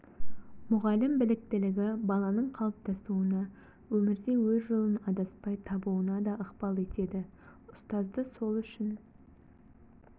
мұғалім біліктілігі баланың қалыптасуына өмірде өз жолын адаспай табуына да ықпал етеді ұстазды сол үшін